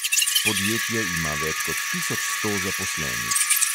Podjetje ima več kot tisoč sto zaposlenih.